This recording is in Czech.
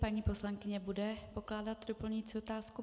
Paní poslankyně bude pokládat doplňující otázku?